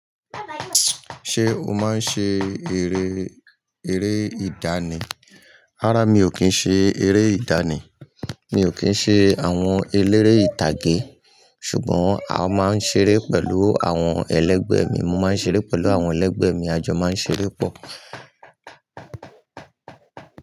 Ṣé o máa ń ṣe eré, eré ìdánì? Rárá mi ò kí ń ṣe eré ìdánì. Mi ò kí ń ṣe àwọn eléré ìtàgé ṣùgbọ́n a máa ń ṣeré pẹ̀lú àwọn ẹlẹ́gbẹ̀ẹ́ mi. Mo máa ń ṣeré pẹ̀lú àwọn ẹlẹ́gbẹ̀ẹ́ mi, a jọ máa ń ṣeré pọ̀